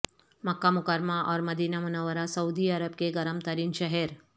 مکہ مکرمہ اور مدینہ منورہ سعودی عرب کے گرم ترین شہر